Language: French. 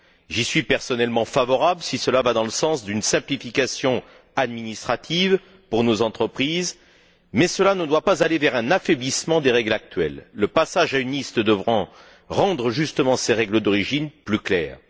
J'y suis, personnellement, favorable si cela va dans le sens d'une simplification administrative pour nos entreprises, mais cela ne doit pas aller vers un affaiblissement des règles actuelles, le passage à une liste devant rendre, justement, ces règles d'origine plus claires.